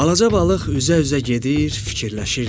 Balaca balıq üzə-üzə gedir, fikirləşirdi.